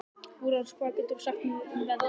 Úranus, hvað geturðu sagt mér um veðrið?